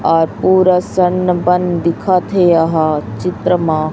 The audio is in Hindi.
और पूरा संन बन दिखत है यहां चित्र मां--